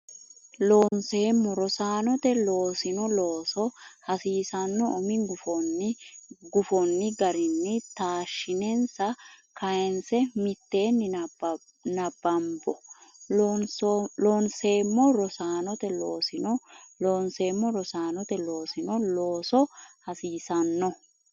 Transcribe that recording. Loonseemmo Rosaanote loossino looso hasiisanno umi gufonni garinni taashshinsa kayinse mitteenni nabbambo Loonseemmo Rosaanote loossino Loonseemmo Rosaanote loossino looso hasiisanno.